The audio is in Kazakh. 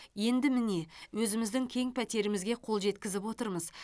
енді міне өзіміздің кең пәтерімізге қол жеткізіп отырмыз